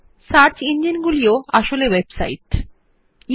আসলে search engine গুলিও website ই হয়